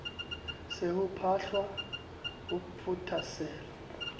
se ho phahlwa ho phothasela